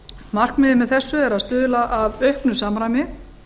markmiðið með þessu er að stuðla að auknu samræmi